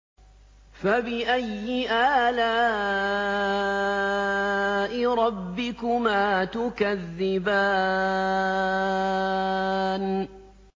فَبِأَيِّ آلَاءِ رَبِّكُمَا تُكَذِّبَانِ